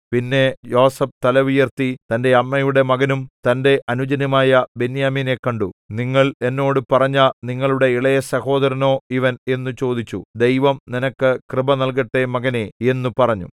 പിന്നെ യോസേഫ് തല ഉയർത്തി തന്റെ അമ്മയുടെ മകനും തന്റെ അനുജനുമായ ബെന്യാമീനെ കണ്ടു നിങ്ങൾ എന്നോട് പറഞ്ഞ നിങ്ങളുടെ ഇളയസഹോദരനോ ഇവൻ എന്നു ചോദിച്ചു ദൈവം നിനക്ക് കൃപ നല്കട്ടെ മകനേ എന്നു പറഞ്ഞു